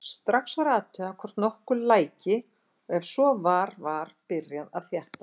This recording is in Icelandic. Strax var athugað hvort nokkuð læki og ef svo var var byrjað að þétta.